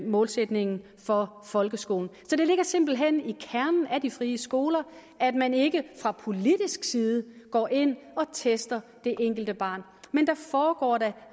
målsætningen for folkeskolen det ligger simpelt hen i kernen af de frie skoler at man ikke fra politisk side går ind og tester det enkelte barn men der foregår da